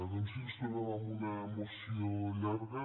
doncs sí ens trobem amb una moció llarga